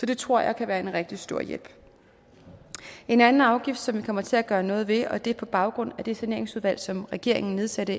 det tror jeg kan være en rigtig stor hjælp en anden afgift som vi kommer til at gøre noget ved og det er med baggrund i det saneringsudvalg som regeringen nedsatte